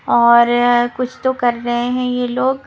और अ कुछ तो कर रहे हैं यह लोग --